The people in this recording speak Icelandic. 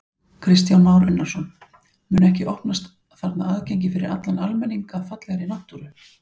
Kristján Már Unnarsson: Mun ekki opnast þarna aðgengi fyrir allan almenning að fallegri náttúru?